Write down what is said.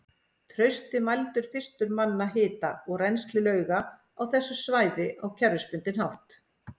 Trausti mældi fyrstur manna hita og rennsli lauga á þessu svæði á kerfisbundinn hátt.